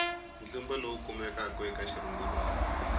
ntlimbo lowu kumekaka eka xirungulwana